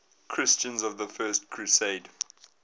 christians of the first crusade